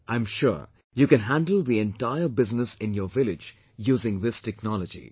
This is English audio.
I am sure you can handle the entire business in your village using this technology